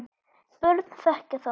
börn þekkja þá.